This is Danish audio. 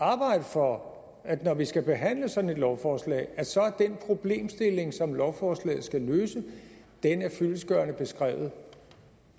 for at når vi skal behandle sådan et lovforslag så er den problemstilling som lovforslaget skal løse fyldestgørende beskrevet